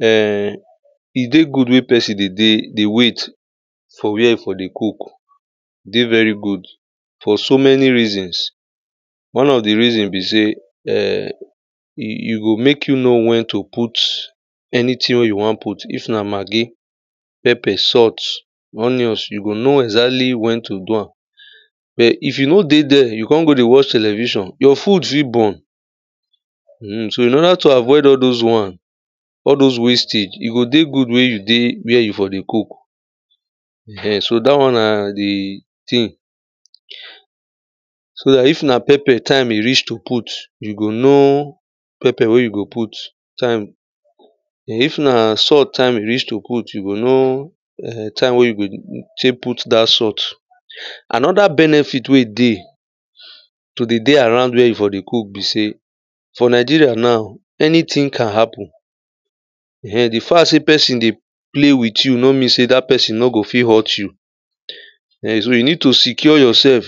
um e dey good mek pesin dey dey dey wait for where e for dey cook e dey veri good for so many reasons. one of di reaon be sey um, e go mek you know wen to put anytin wen you won put if na maggi, pepper, salt, onions, you go know exactly wen to do am but if you no dey there you kon go dey watch television, your food fi burn so in order to avoid all dis won, all those wastage, e go dey good mey you dey where you for dey cook um so da won na di tin. so if na pepper thyme e reach to put, you go know pepper wey you go put, thyme um if na salt time e reach to put, you go know um time wey tek put dat salt. anoda benefit wey e dey to dey dey around where you for dey cook bi se for nigeria now anytin can happen. um di fact sey pesin dey play with you no mean sey dat pesin no go fi hurt you. um so you need to secure yourself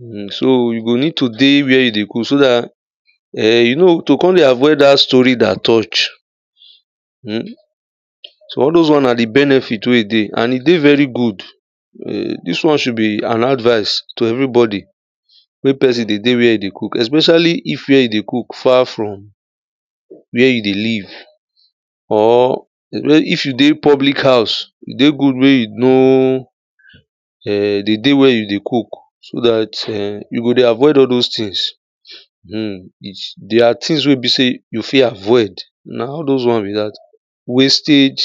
um so you need to dey were you dey cook so dat um to kon dey avoid dat story dat touch um so all those won na di benefit we e dey and e dey very good dis won should be an advice to everybodi wey pesin dey dey were e dey cook especially if were e dey cook far from where e dey live, or if you dey public house, e dey good mey you know um di day wen you dey cook so dat you go dey avoid all those tins.[um] their tin wey e be sey you fi avoid na all those won be dat wastage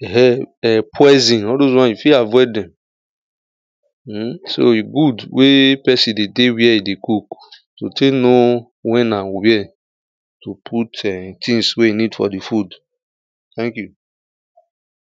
um poisin all those won you fi avoid dem.[um] so e good mey pesin de dey were e dey cook to te tek know wen an where to put um tins we you need for di food. thank you.